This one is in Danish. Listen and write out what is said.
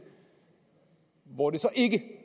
hvor det så ikke